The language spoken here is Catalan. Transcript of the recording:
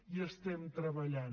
hi estem treballant